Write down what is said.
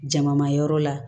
Jama ma yɔrɔ la